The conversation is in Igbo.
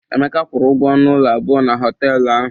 Emeka kwụrụ ụgwọ ọnụ ụlọ abụọ na họtelụ ahụ.